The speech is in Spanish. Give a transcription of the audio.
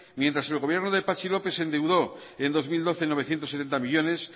mientras el gobierno de patxi lópez se endeudó en dos mil doce en novecientos setenta millónes